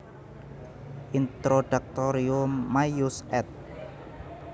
Introductorium maius ed